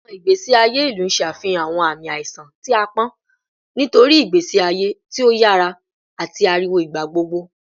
Awọn igbesi aye ilu ṣe afihan awọn aami aiṣan ti aapọn nitori igbesi aye ti o yara ati ariwo igbagbogbo